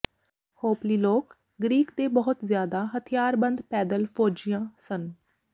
ਹੋਪਲੀ ਲੋਕ ਗ੍ਰੀਕ ਦੇ ਬਹੁਤ ਜ਼ਿਆਦਾ ਹਥਿਆਰਬੰਦ ਪੈਦਲ ਫ਼ੌਜੀਆਂ ਸਨ